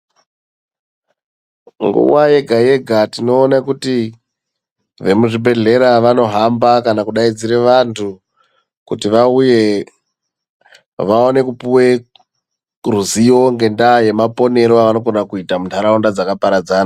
Nguwa yega-yega tinoona kuti vemuzvibhehlera vanohamba kana kudaidzira vantu kuti vauye vaone kupuwe ruzivo ngendaa yemaponere avanokona kuita muntaraunda dzakaparadzana.